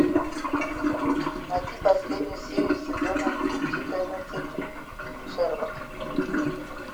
найти последнюю серию сезона четырнадцать шерлок